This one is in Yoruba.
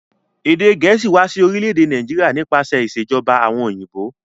Èdè gẹ̀ẹ̀síì wa si orílẹ̀dè Naijiria nípasẹ̀ ìsèjoba àwon òyìnbó